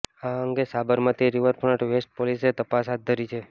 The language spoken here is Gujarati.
આ અંગે સાબરમતી રિવરફ્રન્ટ વેસ્ટ પોલીસે તપાસ હાથ ધરી છે